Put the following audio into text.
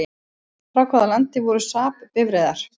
Frá hvaða landi voru SAAB bifreiðar?